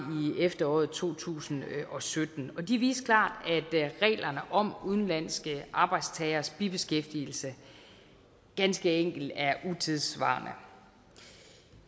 i efteråret to tusind og sytten og de viste klart at reglerne om udenlandske arbejdstageres bibeskæftigelse ganske enkelt er utidssvarende